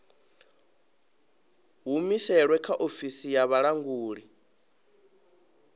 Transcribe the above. humusilwe kha ofisi ya vhulanguli